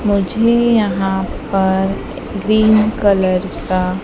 मुझे यहां पर ग्रीन कलर का--